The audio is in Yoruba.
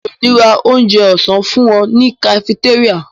Mi ò ní ra onjẹ ọ̀sán fúnmi ní kafitéríà.